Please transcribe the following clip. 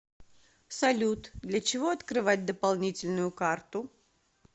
салют для чего открывать дополнительную карту